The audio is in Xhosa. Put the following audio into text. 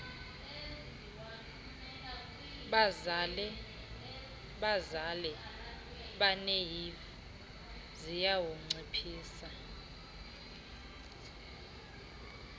bazale abanehiv ziyawunciphisa